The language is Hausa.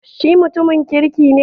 Shi mutumin kirki ne